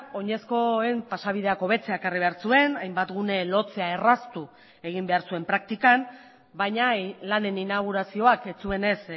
oinezkoen pasabideak hobetzea ekarri behar zuen hainbat gune lotzea erraztu egin behar zuen praktikan bainalanen inaugurazioak ez zuenez